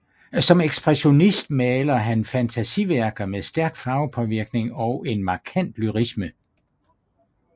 Som ekspressionist maler han fantasiværker med stærk farvepåvirkning og en markant lyrisme